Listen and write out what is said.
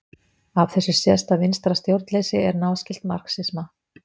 Af þessu sést að vinstra stjórnleysi er náskylt marxisma.